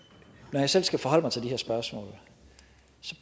når jeg selv skal forholde mig til de her spørgsmål